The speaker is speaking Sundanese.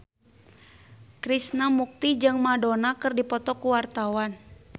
Krishna Mukti jeung Madonna keur dipoto ku wartawan